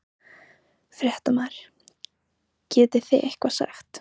Fréttamaður: Getið þið eitthvað sagt?